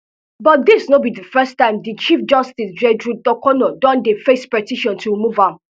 but dis no be di first time di chief justice gertrude torkornoo don dey face petition to remove am